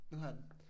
Nu har jeg den